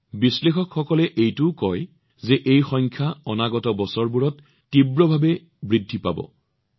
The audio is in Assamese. বিশ্লেষকসকলে এইটোও কয় যে এই সংখ্যাটোৱে অনাগত বছৰবোৰত তীব্ৰ গতিত আগবাঢ়িব